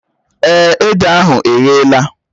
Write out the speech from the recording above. Èé, ede ahụ eghela